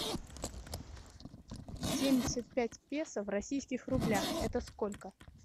семьдесят пять песо в российских рублях это сколько